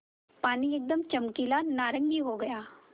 पानी एकदम चमकीला नारंगी हो गया